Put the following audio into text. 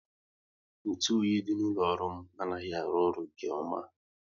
Ntụ oyi dị n'ụlọ ọrụ m anaghị arụ ọrụ nke ọma